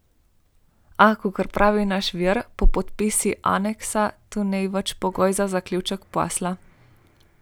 A, kot pravi naš vir, po podpisu aneksa to ni več pogoj za zaključek posla.